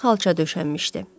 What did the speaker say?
Yeri xalça döşənmişdi.